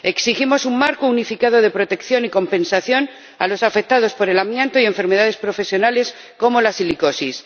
Exigimos un marco unificado de protección y compensación a los afectados por el amianto y enfermedades profesionales como la silicosis.